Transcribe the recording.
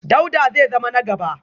Dauda zai zama na gaba